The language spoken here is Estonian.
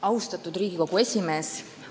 Austatud Riigikogu esimees!